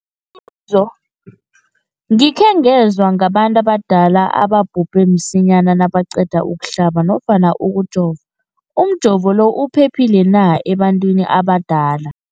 zo, gikhe ngezwa ngabantu abadala ababhubhe msinyana nabaqeda ukuhlaba nofna ukujova. Umjovo lo uphephile na ebantwini abadala?